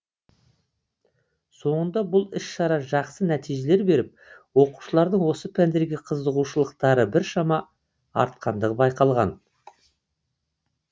соңында бұл іс шара жақсы нәтижелер беріп оқушылардың осы пәндерге қызығушылықтары біршама артқандығы байқалған